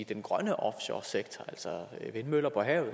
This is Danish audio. den grønne offshoresektor altså vindmøller på havet